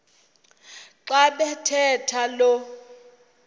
xa bathetha lo